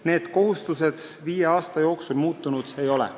Need kohustused viie aasta jooksul muutunud ei ole.